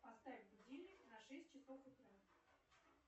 поставь будильник на шесть часов утра